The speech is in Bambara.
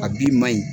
A b'i ma ɲi